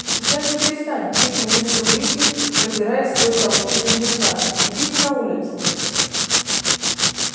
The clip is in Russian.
сейчас же перестань крикнул мистер уизли продираясь сквозь толпу с близнецами идите на улицу